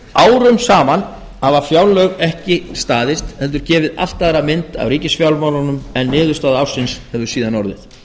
árum saman hafa fjárlög ekki staðist heldur gefið allt aðra mynd af ríkisfjármálunum en niðurstaða ársins hefur síðan orðið